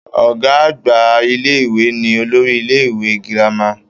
Ọ̀gá àgbà ilé-ìwé ni olórí ilé-ìwé girama